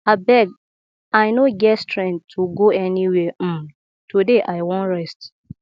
abeg i no get strength to go anywhere um today i wan rest